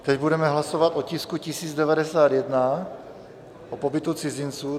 Teď budeme hlasovat o tisku 1091, o pobytu cizinců.